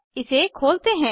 इसे खोलते हैं